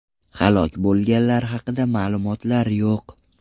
Halok bo‘lganlar haqida ma’lumotlar yo‘q.